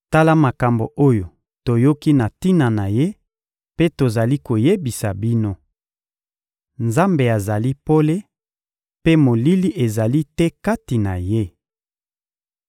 Tala makambo oyo toyoki na tina na Ye mpe tozali koyebisa bino: Nzambe azali pole, mpe molili ezali te kati na Ye.